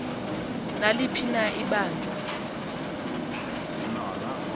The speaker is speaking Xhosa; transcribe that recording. naliphi na ibanjwa